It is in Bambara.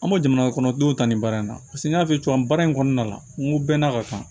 An ma jamana kɔnɔ denw ta nin baara in na paseke n y'a f'i ye cogo min baara in kɔnɔna la n ko bɛn n'a ka kan